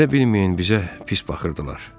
Elə bilməyin bizə pis baxırdılar.